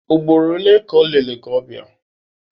Ugboro ole ka o lere gị ọbịa?